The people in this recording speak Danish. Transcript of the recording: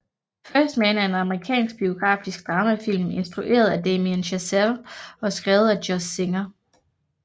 First Man er en amerikansk biografisk dramafilm instrueret af Damien Chazelle og skrevet af Josh Singer